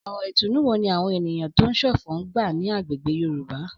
Ọ̀rọ̀ ìtùnú wo ni àwọn èèyàn tó ń ṣọ̀fọ̀ ń gbà ní agbègbè Yorùbá?